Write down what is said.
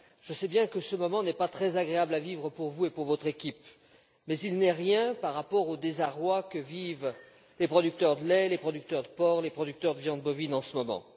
Je sais bien que ce moment n'est pas très agréable à vivre pour vous et pour votre équipe, mais il n'est rien par rapport au désarroi que vivent les producteurs de lait, les producteurs de porc et les producteurs de viande bovine en ce moment.